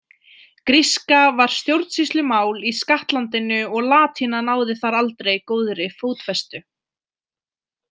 Gríska var stjórnsýslumál í skattlandinu og latína náði þar aldrei góðri fótfestu.